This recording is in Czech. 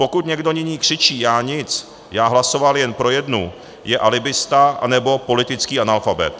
Pokud někdo nyní křičí "Já nic, já hlasoval jen pro jednu!", je alibista nebo politický analfabet.